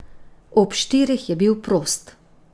Ob štirih je bil prost.